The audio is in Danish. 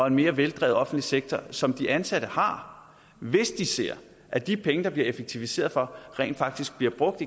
en mere veldrevet offentlig sektor som de ansatte har hvis de ser at de penge der bliver effektiviseret for rent faktisk bliver brugt